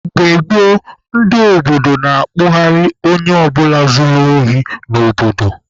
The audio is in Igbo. Mgbe gboo, ndị obodo na-akpụgharị onye ọ bụla zuru ohi n'obodo.